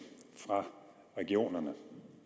fra regionerne